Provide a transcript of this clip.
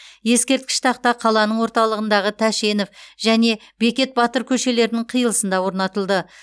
ескерткіш тақта қаланың орталығындағы тәшенов және бекет батыр көшелерінің қиылысында орнатылды